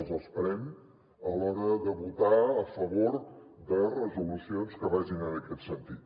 els esperem a l’hora de votar a favor de resolucions que vagin en aquest sentit